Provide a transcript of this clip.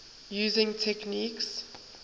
using techniques